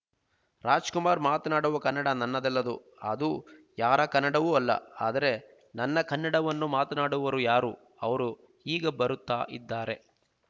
ರಾಜಕುಮಾರ್ ಮಾತನಾಡುವ ಕನ್ನಡ ನನ್ನದಲ್ಲದು ಅದು ಯಾರ ಕನ್ನಡವೂ ಅಲ್ಲ ಆದರೆ ನನ್ನ ಕನ್ನಡವನ್ನು ಮಾತನಾಡುವರು ಯಾರು ಅವರು ಈಗ ಬರುತ್ತಾ ಇದ್ದಾರೆ